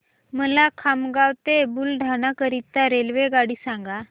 मला खामगाव ते बुलढाणा करीता रेल्वेगाडी सांगा